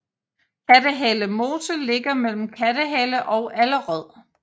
Kattehale Mose ligger mellem Kattehale og Allerød